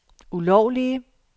ulovlige